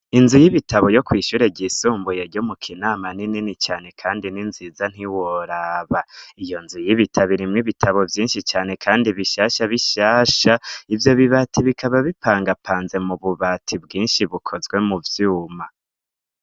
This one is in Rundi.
Inzu y'ibitabo yo kwishure ryisumbuye ryo mu kinama n'inini cane, kandi ni nziza ntiworaba iyo nzu y'ibitaboirimwo ibitabo vyinshi cane, kandi bishasha bishasha ivyo bibati bikaba bipangapanze mu bubati bwinshi bukozwe mu vyuma.